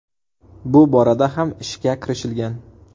Bu borada ham ishga kirishilgan.